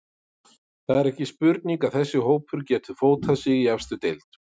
Það er ekki spurning að þessi hópur getur fótað sig í efstu deild.